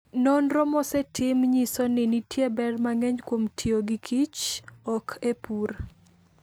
Nonro mosetim nyiso ni nitie ber mang'eny kuom tiyo gikichok e pur.